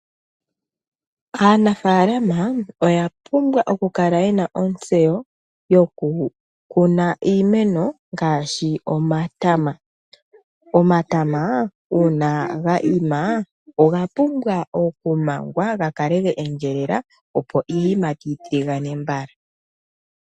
Aanafaalama oya pumbwa okukala yena ontseyo yokukuna iimeno ngaashi omatama. Omatama uuna ga ima oga pumbwa okumangwa ga kale ge endjelela opo iiyimati yi tiligane mbala.